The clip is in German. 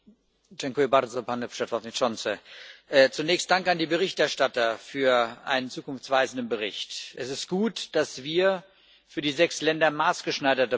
Herr Präsident! Zunächst Dank an die Berichterstatter für einen zukunftsweisenden Bricht. Es ist gut, dass wir für die sechs Länder maßgeschneiderte Programme haben.